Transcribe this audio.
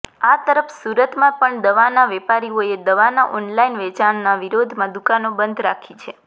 આ તરફ સુરતમાં પણ દવાના વેપારીઓએ દવાના ઓનલાઈન વેચાણના વિરોધમા દુકાનો બંધ રાખી છે